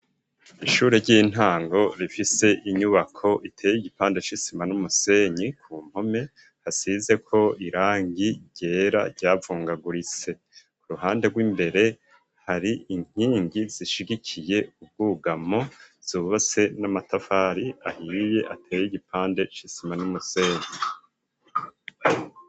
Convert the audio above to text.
Ishure ry'intango rifise inyubako iteye igipande c'isima n'umusenyi ku mpome hasizeko irangi ryera ryavungagurise ku ruhande rw'imbere hari inkingi zishigikiye ubwugamo zubase n'amatafari ahiye ateye igipande c'isima n'umusenyi.